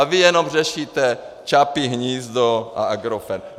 A vy jenom řešíte Čapí hnízdo a Agrofert.